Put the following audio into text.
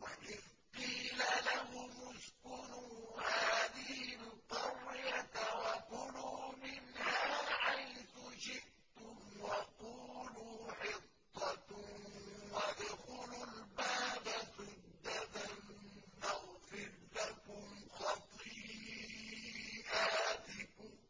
وَإِذْ قِيلَ لَهُمُ اسْكُنُوا هَٰذِهِ الْقَرْيَةَ وَكُلُوا مِنْهَا حَيْثُ شِئْتُمْ وَقُولُوا حِطَّةٌ وَادْخُلُوا الْبَابَ سُجَّدًا نَّغْفِرْ لَكُمْ خَطِيئَاتِكُمْ ۚ